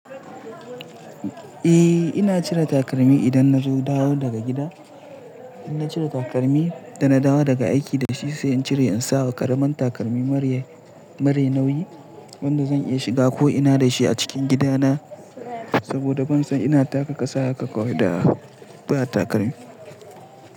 Eh ina cire takalmi idan nazo dawo daga gida. In na cire takalmi da na dawo daga aiki da shi sai in cire in sawa karamin takalmi mara nauyi wanda zan iya shiga ko ina da shi a cikin gidana saboda ban son ina taka kasa haka kawai da ba takalmi.